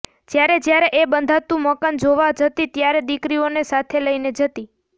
જયારે જયારે એ બંધાતું મકાન જોવા જતી ત્યારે દીકરીઓને સાથે લઈને જતી